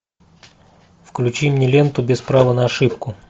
включи мне ленту без права на ошибку